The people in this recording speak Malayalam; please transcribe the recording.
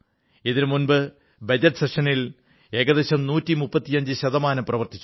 ഇതിനുമുമ്പ് ബജറ്റ് സമ്മേളനത്തിൽ ഏകദേശം 135 ശതമാനം പ്രവർത്തിച്ചു